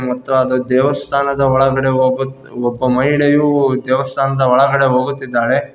ನಂತರ ಅದು ದೇವಸ್ಥಾನದ ಒಳಗಡೆ ಹೋಗು ಒಬ್ಬ ಮಹಿಳೆಯು ದೇವಸ್ಥಾನದ ಒಳಗಡೆ ಹೋಗುತ್ತಿದ್ದಾಳೆ.